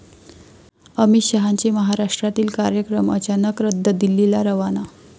अमित शहांचे महाराष्ट्रातील कार्यक्रम अचानक रद्द, दिल्लीला रवाना